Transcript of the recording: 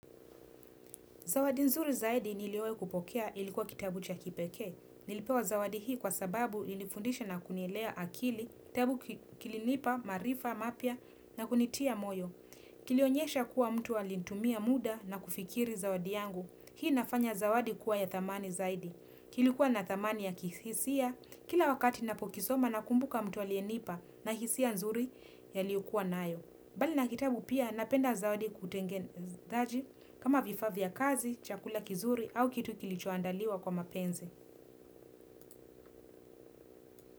Zawadi nzuri zaidi niliwai kupokea ilikuwa kitabu cha kipeke. Nilipewa zawadi hii kwa sababu ilifundisha na kunielea akili, kitabu kilinipa, maarifa, mapya na kunitia moyo. Kilionyesha kuwa mtu alitumia muda na kufikiri zawadi yangu. Hii inafanya zawadi kuwa ya thamani zaidi. Kilikuwa na thamani ya kihisia, kila wakati napokisoma nakumbuka mtu aliyenipa na hisia nzuri aliokua nayo. Bali na kitabu pia napenda zawadi kutengenezaji kama vifaa vya kazi, chakula kizuri au kitu kilichoandaliwa kwa mapenzi.